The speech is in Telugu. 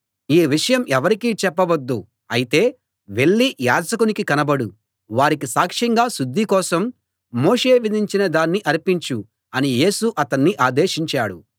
ఈ విషయం ఎవరికీ చెప్పవద్దు అయితే వెళ్ళి యాజకునికి కనబడు వారికి సాక్ష్యంగా శుద్ధి కోసం మోషే విధించిన దాన్ని అర్పించు అని యేసు అతన్ని ఆదేశించాడు